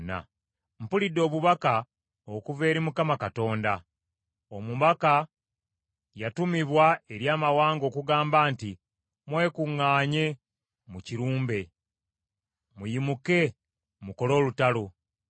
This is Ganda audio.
Mpulidde obubaka okuva eri Mukama Katonda. Omubaka yatumibwa eri amawanga okugamba nti, “Mwekuŋŋaanye mukirumbe! Mugolokoke mukole olutalo!”